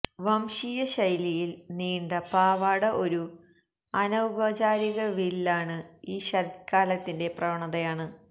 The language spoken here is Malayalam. വംശീയ ശൈലിയിൽ നീണ്ട പാവാട ഒരു അനൌപചാരിക വില്ലാണ് ഈ ശരത്കാലത്തിന്റെ പ്രവണതയാണ്